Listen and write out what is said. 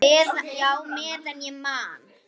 Já, meðan ég man.